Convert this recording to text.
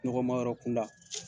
Nɔgɔma yɔrɔ kunda.